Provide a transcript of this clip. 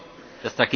The